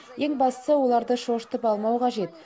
ең бастысы оларды шошытып алмау қажет